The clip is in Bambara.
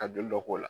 Ka joli dɔ k'o la